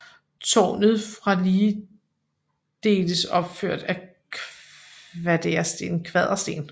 Tårnet fra ligedeles opført af kvadersten